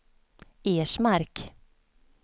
Ersmark